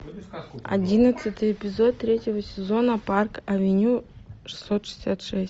одиннадцатый эпизод третьего сезона парк авеню шестьсот шестьдесят шесть